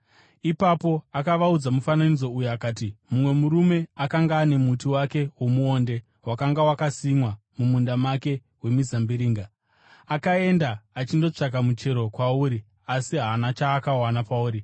Ipapo akavaudza mufananidzo uyu akati, “Mumwe murume akanga ane muti wake womuonde wakanga wakasimwa mumunda wake wemizambiringa, akaenda achindotsvaka muchero kwauri, asi haana chaakawana pauri.